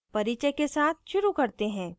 परिचय के साथ शुरू करते हैं